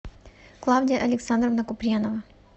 клавдия александровна куприянова